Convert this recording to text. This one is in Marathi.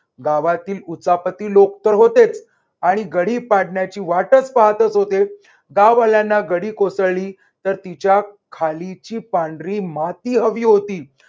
गावातील उचापती लोक तर होतेच. आणि गडी पाडण्याची वाटच पाहतच होते. गाववाल्याना गडी कोसळली तर तिच्या खालची पांढरी माती हवी होती.